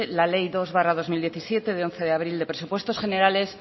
la ley dos barra dos mil diecisiete de once de abril de presupuestos generales